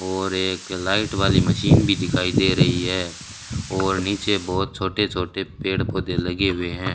और एक लाइट वाली मशीन भी दिखाई दे रही है और नीचे बहुत छोटे छोटे पेड़ पौधे लगे हुए हैं।